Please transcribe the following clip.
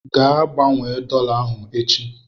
Gaa gbanwee dọla ahụ echi!